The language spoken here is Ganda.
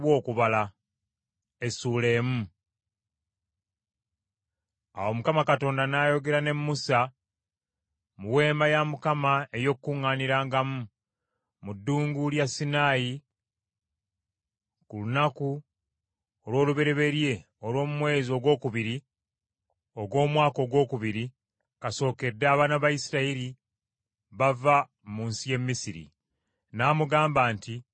Awo Mukama Katonda n’ayogera ne Musa mu Weema ey’Okukuŋŋaanirangamu, mu Ddungu lya Sinaayi ku lunaku olw’olubereberye olw’omu mwezi ogwokubiri ogw’omwaka ogwokubiri kasookedde abaana ba Isirayiri bava mu nsi y’e Misiri . N’amugamba nti: